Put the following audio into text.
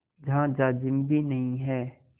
जहाँ जाजिम भी नहीं है